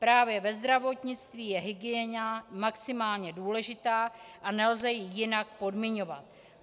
Právě ve zdravotnictví je hygiena maximálně důležitá, a nelze ji jinak podmiňovat.